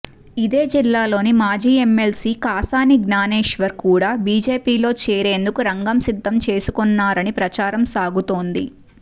ఇదే జిల్లాలోని మాజీ ఎమ్మెల్సీ కాసాని జ్ఞానేశ్వర్ కూడా బీజేపీలో చేరేందుకు రంగం సిద్దం చేసుకొన్నారని ప్రచారం సాగుతోంది